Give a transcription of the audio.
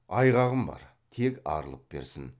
айғағым бар тек арылып берсін